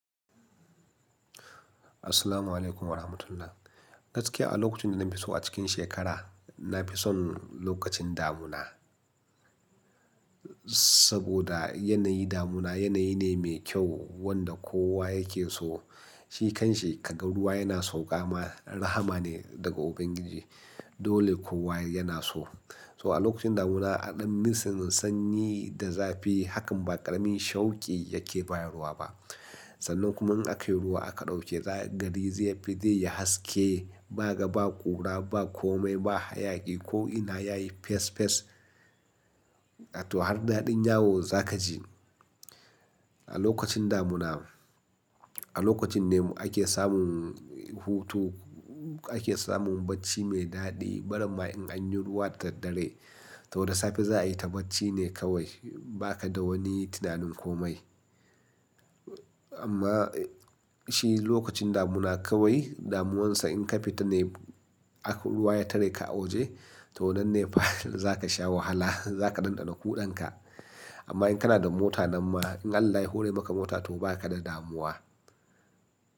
Assalamualaikum warahmatullahi. Gaskiya a lokacin da na fi so a cikin shekara, na fi son lokacin damuna. Saboda yanayi damuna yanayi ne mai kyau wanda kowa yake so. Shi kan shi ka ga ruwa yana sauƙa ma rahama ne daga Ubangiji. Dole kowa yana so. So a lokacin damuna, a ɗin nisan sanyi da zafi, hakan ba ƙaramin shauki yake bayar wa ba. Sannan kuma in aka yi ruwa aka ɗauke gari zai fi dai ya haske. Ba ga ba ƙura, ba kome, ba hayaki ko ina yayi fes fes. A to har daɗin yawo za ka ji. A lokacin damuna, a lokacin ne ake samun hutu, ake samun bacci mai daɗi. Bara ma in an yi ruwa da dare, to da safe za a yi ta bacci ne kawai. Ba ka da wani tunanin kome. Amma shi lokacin damuna kawai damuwansa in ka fita ne, ruwa ya tare ka a waje, to nan ne fa za ka sha wahala. Za ka ɗanɗana kuɗanka. Ama in ka na da mota nan ma in Allah ya hora maka mota to ba ka da damuwa.